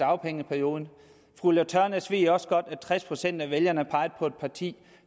dagpengeperioden fru ulla tørnæs ved også godt at tres procent af vælgerne pegede på et parti